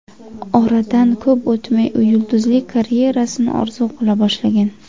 Oradan ko‘p o‘tmay u yulduzlik karyerasini orzu qila boshlagan.